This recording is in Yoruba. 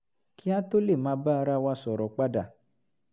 kí a tó lè máa bá ara wa sọ̀rọ̀ padà